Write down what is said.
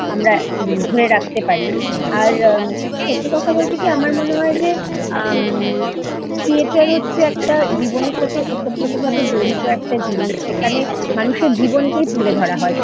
আমরা ধরে রাখতে পারি আর ম সত্যি কথা বলতে কি আমার মনে হয় যে আম থিয়েটার হচ্ছে একটা জীবনের সাথে ওতপ্রোতভাবে জড়িত একটা জিনিস সেখানে মানুষের জীবনকেই তুলে ধরা হয়